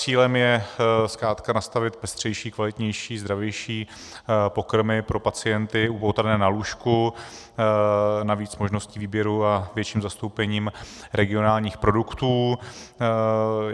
Cílem je zkrátka nastavit pestřejší, kvalitnější, zdravější pokrmy pro pacienty upoutané na lůžku, navíc možnosti výběru a větším zastoupením regionálních produktů.